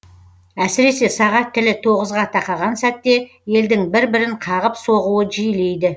әсіресе сағат тілі тоғызға тақаған сәтте елдің бір бірін қағып соғуы жиілейді